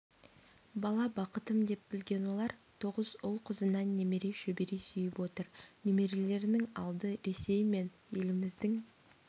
бала бақытым деп білген олар тоғыз ұл-қызынан немере шөбере сүйіп отыр немерелерінің алды ресей мен еліміздің